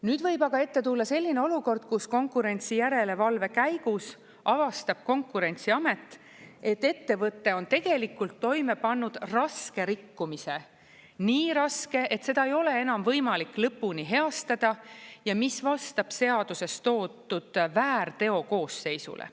Nüüd võib aga ette tulla selline olukord, kus konkurentsijärelevalve käigus avastab Konkurentsiamet, et ettevõte on tegelikult toime pannud raske rikkumise, nii raske, et seda ei ole enam võimalik lõpuni heastada ja mis vastab seaduses toodud väärteokoosseisule.